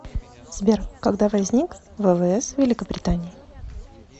сбер когда возник ввс великобритании